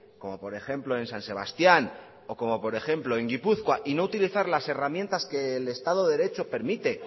como por ejemplo en san sebastián o como por ejemplo en gipuzkoa y no utilizar las herramientas que el estado de derecho permite